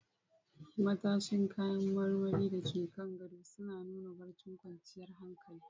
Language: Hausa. Matashin kayan marmari da ke kan gadon suna nuna barcin kwanciyar hankali.